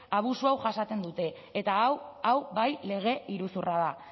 abusu hau jasaten dute eta hau hau bai lege iruzurra da